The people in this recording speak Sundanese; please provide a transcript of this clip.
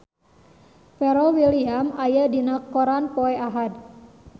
Pharrell Williams aya dina koran poe Ahad